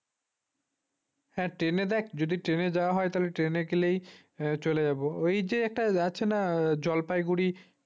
হ্যাঁ জেনে দেখ যদি train যাওয়া হয় তাহলে train গেলেই চলে যাব ওই যে একটা আছে না জলপাইগুড়ি